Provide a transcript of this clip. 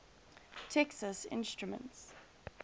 texas instruments